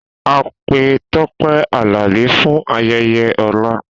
A pe Tope Alabi fun ayeye ola.